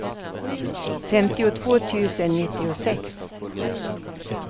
femtiotvå tusen nittiosex